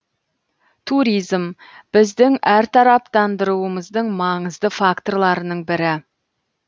туризм біздің әртараптандыруымыздың маңызды факторларының бірі